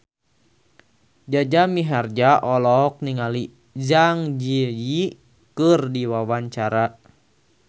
Jaja Mihardja olohok ningali Zang Zi Yi keur diwawancara